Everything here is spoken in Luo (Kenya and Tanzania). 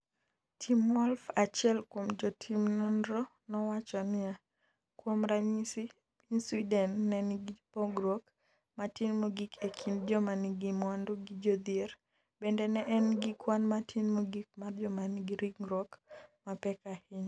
Tim Wolf, achiel kuom jotim nonro nowacho niya: Kuom ranyisi, piny Sweden ne nigi pogruok matin mogik e kind jomanigi mwandu gi jodhier...bende ne en gi kwan matin mogik mar joma nigi ringruok mapek ahinya.